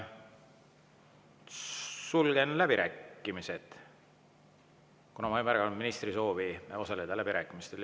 Sulgen läbirääkimised, kuna ma ei märganud ministri soovi osaleda läbirääkimistel.